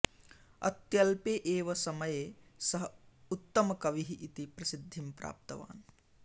अत्यल्पे एव समये सः उत्तमकविः इति प्रसिद्धिं प्राप्तवान्